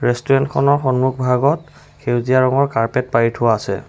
Restaurant খনৰ সন্মুখভাগত সেউজীয়া ৰঙৰ কাৰ্পেট পাৰি থোৱা আছে।